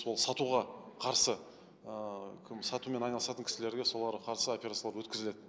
ол сатуға қарсы ыыы кім сатумен айналысатын кісілерге соларға қарсы операциялар өткізіледі